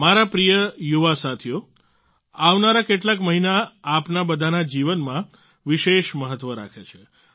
મારા પ્રિય યુવા સાથીઓ આવનારા કેટલાક મહિના આપના બધાના જીવનમાં વિશેષ મહત્વ રાખે છે